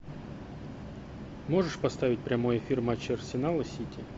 можешь поставить прямой эфир матча арсенал и сити